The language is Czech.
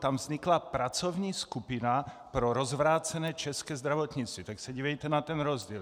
Tam vznikla pracovní skupina pro rozvrácené české zdravotnictví, tak se dívejte na ten rozdíl.